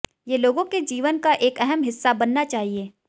ये लोगों के जीवन का एक अहम हिस्सा बनना चाहिए